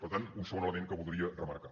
per tant un segon element que voldria remarcar